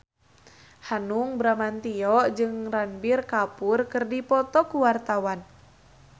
Hanung Bramantyo jeung Ranbir Kapoor keur dipoto ku wartawan